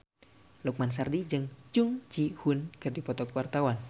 Lukman Sardi jeung Jung Ji Hoon keur dipoto ku wartawan